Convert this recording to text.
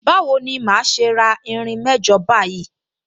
Bawo ni màá ṣe ra irin mẹ́jọ báyìí?